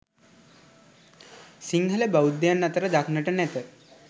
සිංහල බෞද්ධයන් අතර දක්නට නැත.